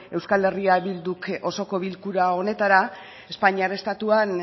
eh bilduk osoko bilkura honetara espainiar estatuan